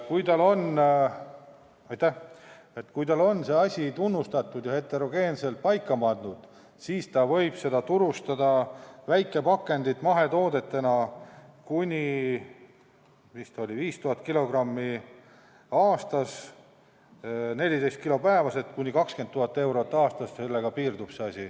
Kui tal on see asi tunnustatud ja heterogeensena paika pandud, siis võib ta turustada väikepakendit mahetoodetena kuni 5000 kilogrammi aastas, 14 kilo päevas, st kuni 20 000 eurot aastas, ja sellega asi piirdub.